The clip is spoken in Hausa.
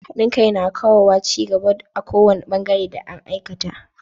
Haɗin kai na kawowa cin gaba a kowani bangaren da an aikata.